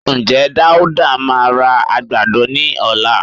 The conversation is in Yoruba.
Ǹjẹ́ Dáúdá máa ra àgbàdo ní ọ̀la?